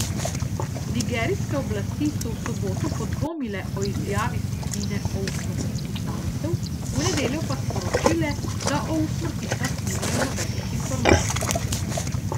Nigerijske oblasti so v soboto podvomile o izjavi skupine o usmrtitvi talcev, v nedeljo pa sporočile, da o usmrtitvah nimajo nobenih informacij.